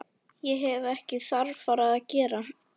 Ég hef ekkert þarfara að gera.